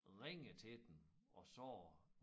Ringede til dem og sagde